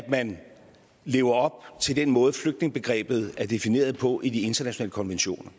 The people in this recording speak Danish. man lever op til den måde flygtningebegrebet er defineret på i de internationale konventioner